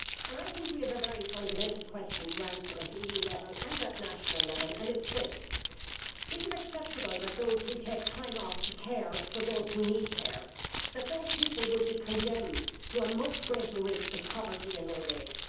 I think we have a very fundamental question to answer at EU level and national level, and it is this is it acceptable that those who take time off to care for those who need care will be condemned to a much greater risk of poverty in old age?